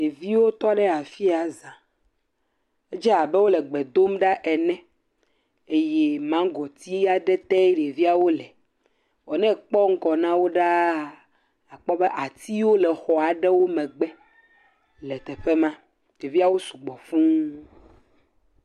Ɖeviwo tɔ ɖe afi ya za. Edze abe wole gbe dom ɖa ene eye magoti aɖe tee ɖeviawo le. Ne ekpɔ ŋgɔ na wo ɖaa akpɔ be atiwo le xɔ aɖewo megbe le teƒe ma. Ɖeviawo su gbɔ fuu.